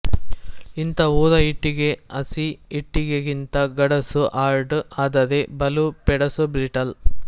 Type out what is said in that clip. ಇಂಥ ಊರ ಇಟ್ಟಿಗೆ ಹಸಿ ಇಟ್ಟಿಗೆಗಿಂತ ಗಡಸು ಹಾರ್ಡ್ ಆದರೆ ಬಲು ಪೆಡಸು ಬ್ರಿಟಲ್